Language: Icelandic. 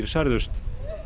særðust